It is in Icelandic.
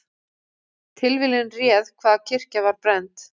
Tilviljun réð hvaða kirkja var brennd